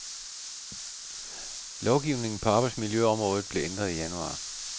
Lovgivningen på arbejdsmiljøområdet blev ændret i januar.